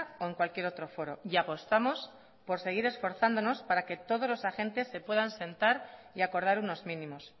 o en cualquier otro foro y apostamos por seguir esforzándonos para que todos los agentes se puedan sentar y acordar unos mínimos